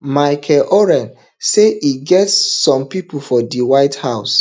michael oren say e get some pipo for di white house